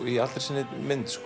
í allri sinni mynd